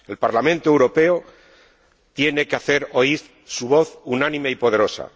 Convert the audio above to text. El Parlamento Europeo tiene que hacer oír su voz unánime y poderosa.